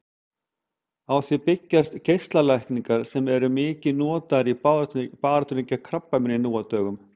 Á því byggjast geislalækningar sem eru mikið notaðar í baráttunni gegn krabbameini nú á dögum.